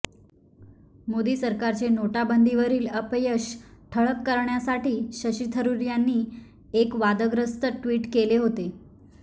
मोदी सरकारचे नोटाबंदीवरील अपयश ठळक करण्यासाठी शशी थरूर यांनी एक वादाग्रस्त ट्विट केले होते